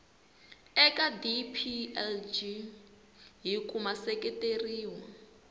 eka dplg hi ku seketeriwa